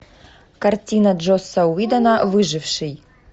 картина джосса уидона выживший